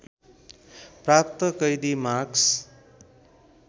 प्राप्त कैदी मार्कस